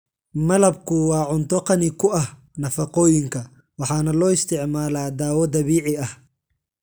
Malabku waa cunto qani ku ah nafaqooyinka waxaana loo isticmaalaa dawo dabiici ah.